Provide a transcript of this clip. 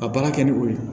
Ka baara kɛ ni o ye